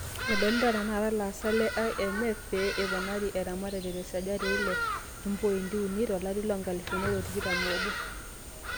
"Edolita tenakata ilaasak le IMF pee eponari eramatare te sajati eile opointi uni to larii loonkalifuni are otikitam oobo.